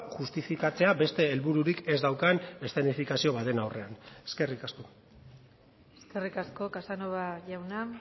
justifikatzea beste helbururik ez daukan eszenifikazio baten aurrean eskerrik asko eskerrik asko casanova jauna